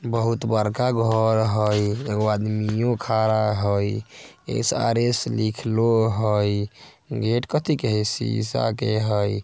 बहुत बड़का घर हेय एगो आदमियों खड़ा हेय एस_आर_एस लिखलो हेय गेट कथी के हेय सीसा के हेय।--